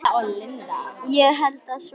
Ég held að svo sé.